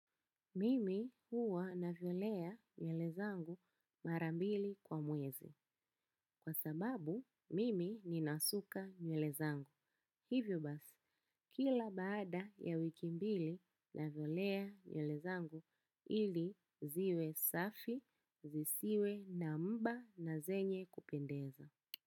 Mimi huwa navyonea nyele zangu mara mbili kwa mwezi. Kwa sababu, mimi ni nasuka nywele zangu. Hivyo basi, kila baada ya wiki mbili na vyelea nyele zangu ili ziwe safi, zisiwe na mba na zenye kupendeza.